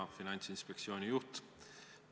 Hea Finantsinspektsiooni juht!